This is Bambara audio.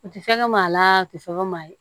U tɛ fɛn kɛ maa laa u tɛ fɛn kɛ maa ye